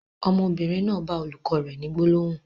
Ọmọbìnrin náà bá olùkọ́ rẹ ni gbólóhùn.